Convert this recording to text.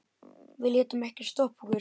Við létum ekkert stoppa okkur.